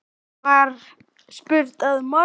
var spurt að morgni.